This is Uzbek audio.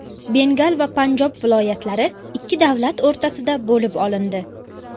Bengal va Panjob viloyatlari ikki davlat o‘rtasida bo‘lib olindi.